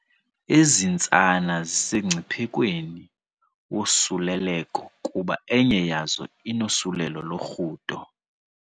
Ezi ntsana zisemngciphekweni wosuleleko kuba enye yazo inosuleleko lorhudo.